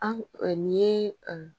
An nin ye